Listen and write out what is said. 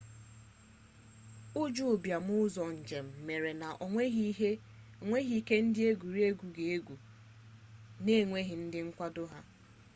ụjọ ụbịam ụzọ njem mere na onwere ike ndị egwuregwu ga egwu n'enweghị ndị nkwado ha